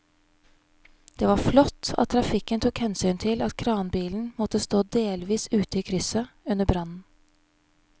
Det var flott at trafikken tok hensyn til at kranbilen måtte stå delvis ute i krysset under brannen.